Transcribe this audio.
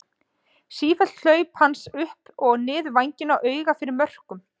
Sífelld hlaup hans upp og niður vænginn og auga fyrir mörkum.